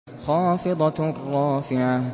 خَافِضَةٌ رَّافِعَةٌ